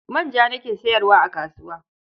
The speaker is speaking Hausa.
Manja nake sayarwa a kasuwa.